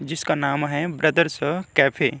जिसका नाम है ब्रदर्स कैफ़े ।